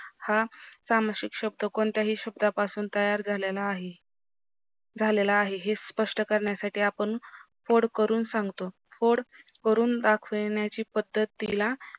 हा सामासिक शब्द कोणत्याही शब्दा पासून तयार झालेला आहे झालेला आहे हे स्पष्ट करण्यासाथी आपण फोड करून सांगतो फोड करून दाखविणीच्या पद्धतीला